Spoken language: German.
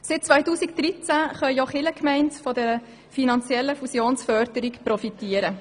Seit 2013 können auch Kirchgemeinden von dieser finanziellen Fusionsförderung profitieren.